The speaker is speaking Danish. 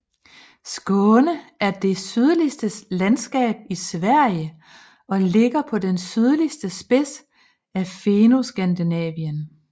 Skåne er det sydligste landskab i Sverige og ligger på den sydligste spids af Fennoskandinavien